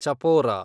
Chapora